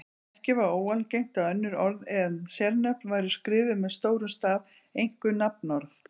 Ekki var óalgengt að önnur orð en sérnöfn væru skrifuð með stórum staf, einkum nafnorð.